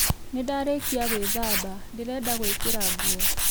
Nĩ ndarĩkia gwĩthamba, ndĩrenda gwĩkĩra nguo